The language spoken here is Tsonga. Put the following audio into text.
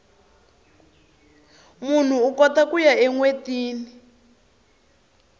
munhu ukota kuya enwetini